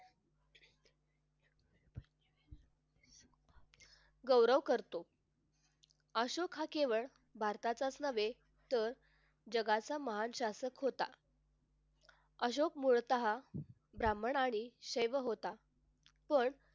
गौरव करतो अशोक हा केवळ भारतातच नव्हे तर जगाचा महान शासक होता अशोक मुळतः हा ब्राह्मण आणि सेव होता पण